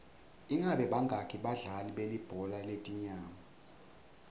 ingabe bangaki badlali belibhola letinyawo